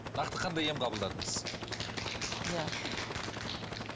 нақты қандай ем қабылдадыңыз